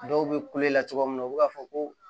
Dɔw bɛ kulela cogoya min na u bɛ k'a fɔ ko